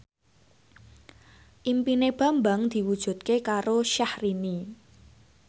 impine Bambang diwujudke karo Syahrini